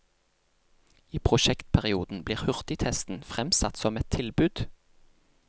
I prosjektperioden blir hurtigtesten fremsatt som et tilbud.